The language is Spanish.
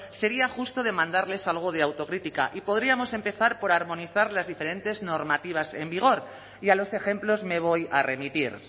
sería justo demandarles algo de autocrítica y podríamos empezar por armonizar las diferentes normativas en vigor y a los ejemplos me voy a remitir